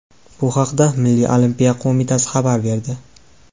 Bu haqda Milliy olimpiya qo‘mitasi xabar berdi .